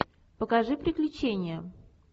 покажи приключения